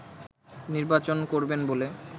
নির্বাচন করবেন বলে